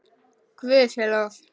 Guði sé lof.